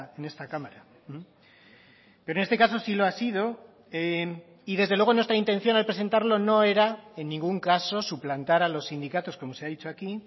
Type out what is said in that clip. en esta cámara pero en este caso sí lo ha sido y desde luego nuestra intención al presentarlo no era en ningún caso suplantar a los sindicatos como se ha dicho aquí